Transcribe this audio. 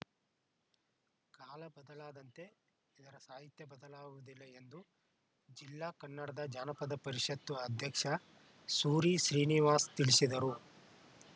ಕಾಲ ಬದಲಾದಂತೆ ಇದರ ಸಾಹಿತ್ಯ ಬದಲಾಗುವುದಿಲ್ಲ ಎಂದು ಜಿಲ್ಲಾ ಕನ್ನಡ ಜಾನಪದ ಪರಿಷತ್ತು ಅಧ್ಯಕ್ಷ ಸೂರಿ ಶ್ರೀನಿವಾಸ್‌ ತಿಳಿಸಿದರು